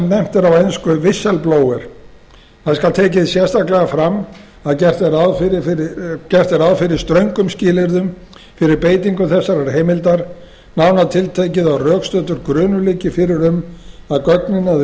er á ensku whistleblower það skal tekið sérstaklega fram að gert er ráð fyrir ströngum skilyrðum fyrir beitingu þessarar heimildar nánar tiltekið að rökstuddur grunur liggi fyrir um að gögnin eða